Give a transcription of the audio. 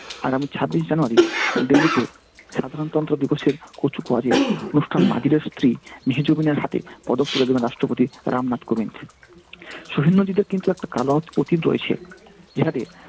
আগামী ছাব্বিশ january দিল্লিতে সাধারণতন্ত্র দিবসের কুচকাওয়াজের অনুষ্ঠান স্ত্রী হাতে পদক তুলে দেবেন রাষ্ট্রপতি রামনাথ কোবিন্দ। কিন্তু একটা কালো অত অতীত রয়েছে,